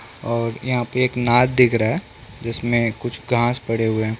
और यहाँ पे एक नाद दिख रहा है जिसमें कुछ घास पड़े हुए हैं ।